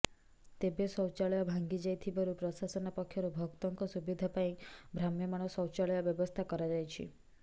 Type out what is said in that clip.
ତେବେ ଶୌଚାଳୟ ଭାଙ୍ଗାଯାଇ ଥିବାରୁ ପ୍ରଶାସନ ପକ୍ଷରୁ ଭକ୍ତଙ୍କ ସୁବିଧା ପାଇଁ ଭ୍ରାମ୍ୟମାଣ ଶୌଚାଳୟ ବ୍ୟବସ୍ଥା କରାଯାଇଛି